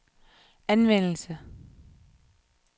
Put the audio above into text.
anvendelse